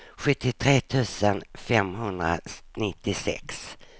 sjuttiotre tusen femhundranittiosex